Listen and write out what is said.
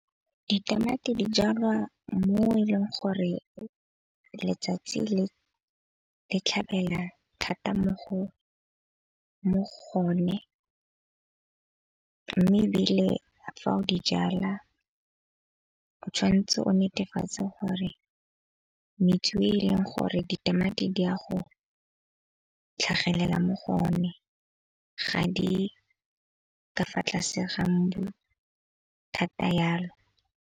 Ditamati di jalwa mo e leng gore letsatsi le tlhabela thata mo go o ne. Mme ebile fa o di jala o tshwan'tse o netefatse gore e e leng gore ditamati di a go tlhagelela mo go o ne. Ga di ka fa tlase ga mbu thata jalo.